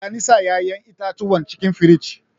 Taya ni sa ƴaƴan itatuwan cikin firij.